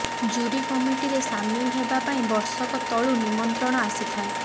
jury କମିଟିରେ ସାମିଲ ହେବା ପାଇଁ ବର୍ଷକ ତଳୁ ନିମନ୍ତ୍ରଣ ଆସିଥାଏ